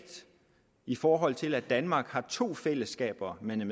i forhold til at danmark har to fællesskaber man er